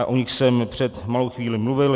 - A o nich jsem před malou chvílí mluvil.